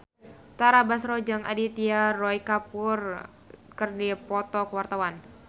Tara Basro jeung Aditya Roy Kapoor keur dipoto ku wartawan